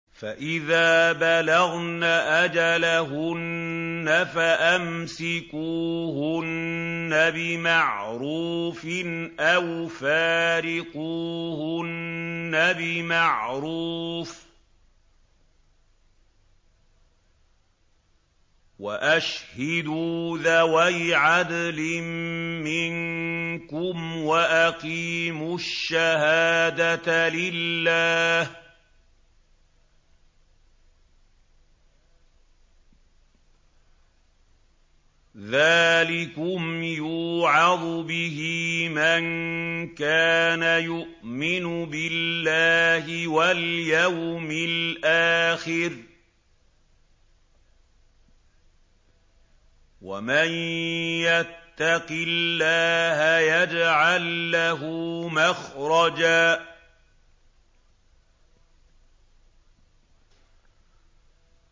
فَإِذَا بَلَغْنَ أَجَلَهُنَّ فَأَمْسِكُوهُنَّ بِمَعْرُوفٍ أَوْ فَارِقُوهُنَّ بِمَعْرُوفٍ وَأَشْهِدُوا ذَوَيْ عَدْلٍ مِّنكُمْ وَأَقِيمُوا الشَّهَادَةَ لِلَّهِ ۚ ذَٰلِكُمْ يُوعَظُ بِهِ مَن كَانَ يُؤْمِنُ بِاللَّهِ وَالْيَوْمِ الْآخِرِ ۚ وَمَن يَتَّقِ اللَّهَ يَجْعَل لَّهُ مَخْرَجًا